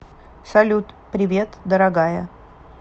салют привет дорогая